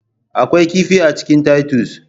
Akwai kifi a cikin titus